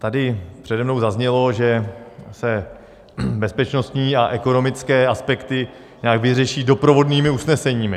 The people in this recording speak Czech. Tady přede mnou zaznělo, že se bezpečnostní a ekonomické aspekty nějak vyřeší doprovodnými usneseními.